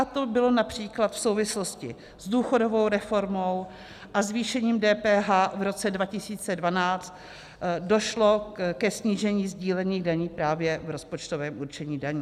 A to bylo například v souvislosti s důchodovou reformou a zvýšením DPH v roce 2012, došlo ke snížení sdílených daní právě v rozpočtovém určení daní.